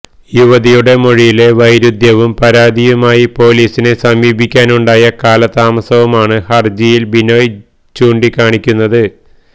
യുവതിയുടെ മൊഴിയിലെ വൈരുദ്ധ്യവും പരാതിയുമായി പൊലീസിനെ സമീപിക്കാനുണ്ടായ കാലതാമസവുമാണ് ഹർജിയിൽ ബിനോയ് ചൂണ്ടിക്കാണിക്കുന്നത്